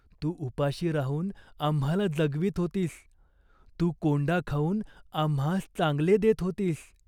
तू उपाशी राहून आम्हाला जगवीत होतीस. तू कोंडा खाऊन आम्हास चांगले देत होतीस.